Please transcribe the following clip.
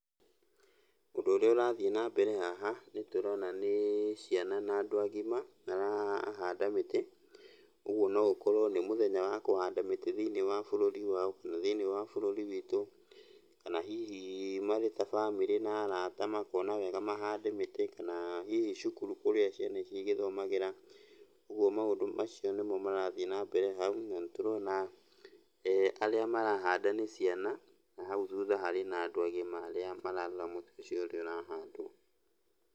Ũndũ ũrĩa ũrathiĩ nambere haha nĩtũrona nĩ ciana na andũ agima marahanda mĩtĩ. Ũguo no gũkorwo nĩ mũthenya wa kũhanda mĩtĩ thĩiniĩ wa bũrũri wao, kana thĩiniĩ wa bũrũri witũ, kana hihi marĩ ta bamĩrĩ na arata makona wega mahande mĩtĩ, kana hihi cukuru kũrĩa ciana ici igĩthomagĩra, ũguo maũndũ macio nĩmo marathiĩ na mbere hau. Na nĩtũrona arĩa marahanda nĩ ciana, na hau thutha harĩ na andũ agima arĩa mararora mũtĩ ũcio ũrĩa ũrahandwo.